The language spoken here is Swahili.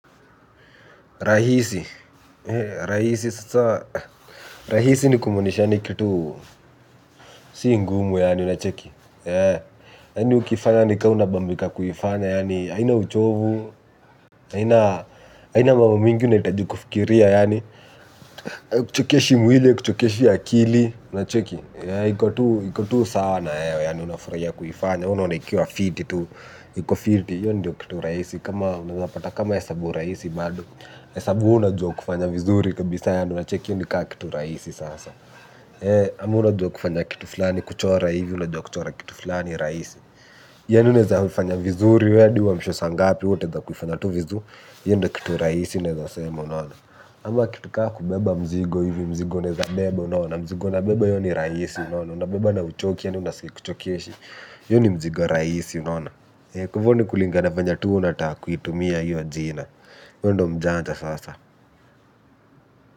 Rahisi. Rahisi. Rahisi ni kumanisha ni kitu si ngumu una cheki. Ya ni ukifanya nika unabambika kuyifanya aina uchovu, ya na mambo mingi unaitaji kufkiria aikuchokeshi mwile aikuchokeshi akili ya na cheki. Ya ikotu sana ya unafuria kuyifanya. Ono naikiwa fiti tu, yo ndio kitu raisi, kama unapata kama esabu raisi bado, esabu unajua kufanya vizuri kabisa yani una check yo nikaa kitu raisi sasa. Ama unajua kufanya kitu flani kuchora hivi, unajua kuchora kitu flani raisi. Yani unaeza fanya vizuri hadi uamshwe saa ngapi hiyo ndo kitu rasi naeza sema. Amo kitu kaa kubeba mzigo hivi, mzigo nezabebo unona, mzigo nabeba iyo ni raisi unona, unabeba na uchoki ni unasuke kuchokieshi. Yoni mjigo rais yunona kufoni kulingana venye tu unataka kuitumia yi ajina yo ndo mjanta sasa.